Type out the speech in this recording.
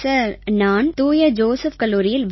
sir நான் தூய Joseph கல்லூரியில்